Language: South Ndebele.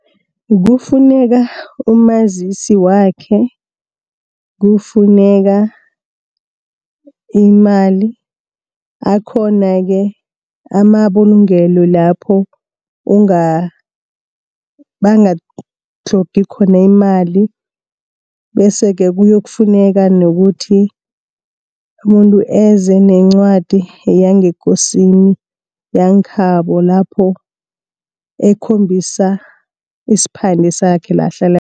Kufuneka umazisi wakhe, kufuneka imali akhona-ke amabulungelo lapho bangakutlhogi khona imali bese-ke kuyokufuneka nokuthi umuntu eze nencwadi yangekosini yangekhabo lapho ekhombisa isiphande sakhe la ahlala